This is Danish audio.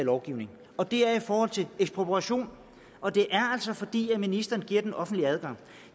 lovgivning og det er i forhold til ekspropriation og det er altså fordi ministeren giver den offentlige adgang